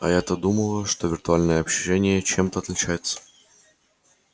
а я-то думала что виртуальное общение чем-то отличается